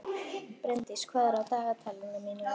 Brimdís, hvað er á dagatalinu mínu í dag?